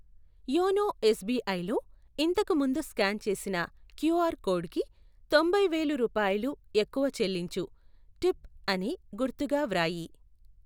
YONO ఎస్బీఐలో ఇంతకు ముందు స్కాన్ చేసిన క్యూఆర్ కోడుకి తొంభై వేలు రూపాయలు ఎక్కువ చెల్లించు, టిప్ అని గుర్తుగా వ్రాయి